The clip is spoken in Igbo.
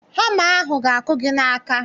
Hama ahụ ga-aga akụ gị n'aka